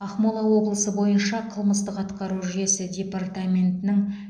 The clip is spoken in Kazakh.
ақмола облысы бойынша қылмыстық атқару жүйесі департаментінің